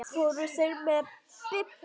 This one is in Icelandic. Fóru þeir með Bibba?